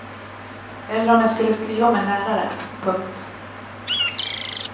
Eller om jag skulle skriva om en lärare. punkt